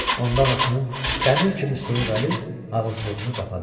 Ondan anasının dəmir kimi soyuq əli ağız-burnunu qapdı.